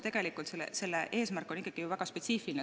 Tegelikult on selle seaduse eesmärk ikkagi väga spetsiifiline.